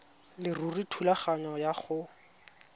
leruri thulaganyo ya go